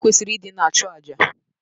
O kwesịrị ịdị na-achụ àjà